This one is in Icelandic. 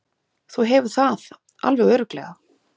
Þú hefur það alveg örugglega.